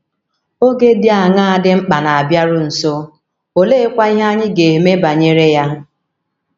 Oge dị aṅaa dị mkpa na - abịaru nso, oleekwa ihe anyị ga - eme banyere ya?